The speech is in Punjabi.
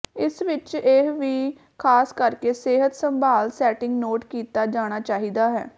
ਇਸ ਵਿਚ ਇਹ ਵੀ ਖਾਸ ਕਰਕੇ ਸਿਹਤ ਸੰਭਾਲ ਸੈਟਿੰਗ ਨੋਟ ਕੀਤਾ ਜਾਣਾ ਚਾਹੀਦਾ ਹੈ